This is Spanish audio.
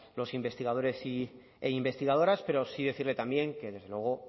los investigadores e investigadoras pero sí decirle también que desde luego